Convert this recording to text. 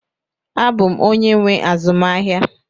Abụ m onye nwe azụmahịa